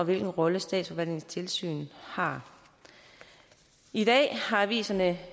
hvilken rolle statsforvaltningens tilsyn har i dag har aviserne